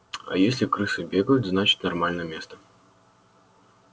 а если крысы бегают значит нормальное место